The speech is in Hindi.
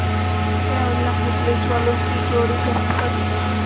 मोटे और लम्बे पुलिसवालों की जोड़ी गश्त पर थी